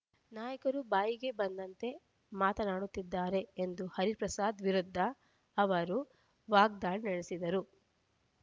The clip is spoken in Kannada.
ನಾಯಕರು ಬಾಯಿಗೆ ಬಂದಂತೆ ಮಾತನಾಡುತಿದ್ದಾರೆ ಎಂದು ಹರಿಪ್ರಸಾದ್ ವಿರುದ್ಧ ಅವರು ವಾಗ್ದಾಳಿ ನಡೆಸಿದರು